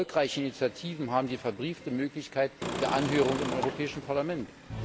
Erfolgreiche Initiativen haben die verbriefte Möglichkeit der Anhörung im Europäischen Parlament.